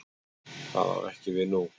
Það á ekki við nú.